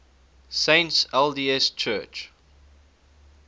saints lds church